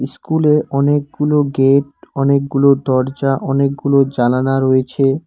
ইস্কুলে অনেকগুলো গেট অনেকগুলো দরজা অনেকগুলো জালানা রয়েছে।